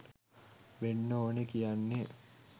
වෙන්න ඕන කියන්නෙ